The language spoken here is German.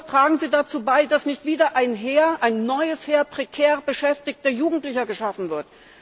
Tragen Sie dazu bei, dass nicht wieder ein neues Heer, prekär beschäftigter Jugendlicher geschaffen wird!